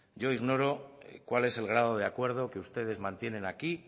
yo ignoro cuál es el grado de acuerdo que ustedes mantienen aquí